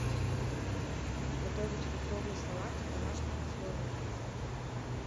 готовить фруктовые салаты в домашних условиях